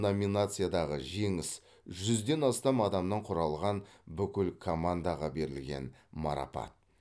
номинациядағы жеңіс жүзден астам адамнан құралған бүкіл командаға берілген марапат